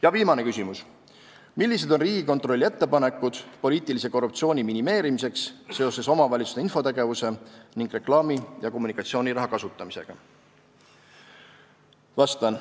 Ja viimane küsimus: "Millised on Riigikontrolli ettepanekud poliitilise korruptsiooni minimeerimiseks seoses omavalitsuste infotegevuse ning reklaami- ja kommunikatsiooniraha kasutamisega?